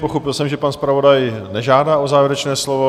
Pochopil jsem, že pan zpravodaj nežádá o závěrečné slovo.